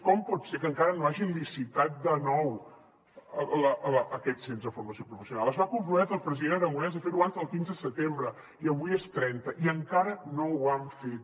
com pot ser que encara no hagin licitat de nou aquest centre de formació professional es va comprometre el president aragonès a ferho abans del quinze setembre i avui és trenta i encara no ho han fet